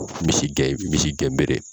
misi gɛn bere.